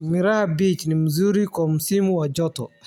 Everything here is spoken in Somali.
Miraha peach ni mzuri kwa msimu wa joto.